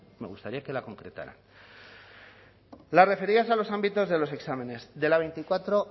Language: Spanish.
me gustaría que la concretaran las referidas a los ámbitos de los exámenes de la veinticuatro